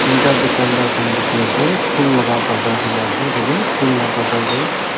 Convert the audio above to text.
tinta tukandar khan diki asae bhull laga bazar khan asae tadae bhull laa bazar dae.